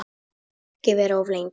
Og ekki vera of lengi.